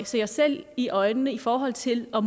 se os selv i øjnene i forhold til og